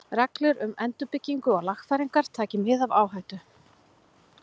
Reglur um endurbyggingu og lagfæringar, taki mið af áhættu.